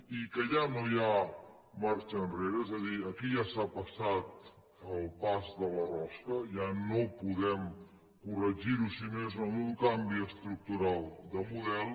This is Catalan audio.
i que ja no hi ha marxa enrere és a dir aquí ja s’ha passat el pas de la rosca ja no podem corregir ho si no és amb un canvi estructural de model